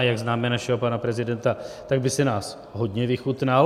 A jak známe našeho pana prezidenta, tak by si nás hodně vychutnal.